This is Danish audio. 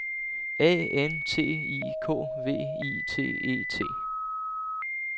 A N T I K V I T E T